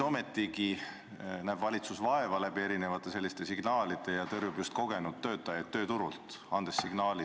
Ometigi näeb valitsus vaeva selliste signaalidega ja tõrjub just kogenud töötajaid tööturult.